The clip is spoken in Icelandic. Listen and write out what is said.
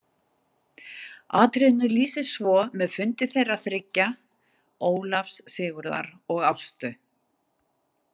Atriðinu lýsir svo með fundi þeirra þriggja, Ólafs, Sigurðar og Ástu.